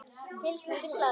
Fylgt úr hlaði